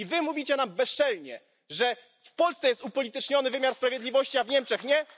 I wy mówicie nam bezczelnie, że w Polsce jest upolityczniony wymiar sprawiedliwości, a w Niemczech nie?